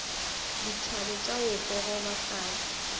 dithabe tša go gogoba fase